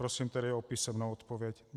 Prosím tedy o písemnou odpověď.